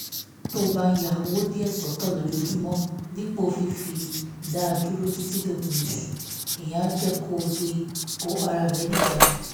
tó o bá ń ya owó díẹ̀ sọ́tọ̀ lójoojúmọ́ dípò fífi dá dúró títí òpin oṣù ìyẹn á jẹ́ kó o lè kó ara rẹ níjàánu